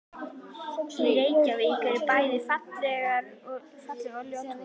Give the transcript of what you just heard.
Í Reykjavík eru bæði falleg og ljót hús.